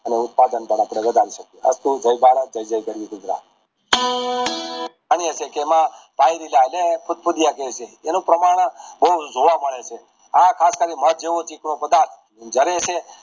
અને ઉથપદં પણ આપણે વધારી શકીએ જય ભારત જય જય ગરવી ગુજરાત એમાં ફુંધ ફુંધીયા કેયી છે એનું પ્રમાણ બૌ જોવા મળે છે આ ખાસ કરીને મધ જેવું ચીકણુ પધારત છે